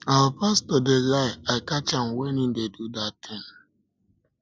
our pastor dey lie i catch am when he dey do that thing